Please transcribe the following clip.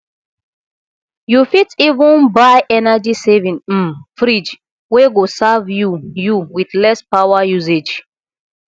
yu fit even buy energy saving um fridge wey go serve you you with less power usage